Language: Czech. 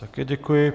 Také děkuji.